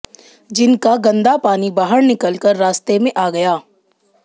जिनका गंदा पानी बाहर निकलकर रास्ते में आ गया